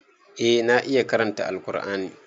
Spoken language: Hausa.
Eh na iya karanta Alqur'ani.